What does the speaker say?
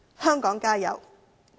香港加油！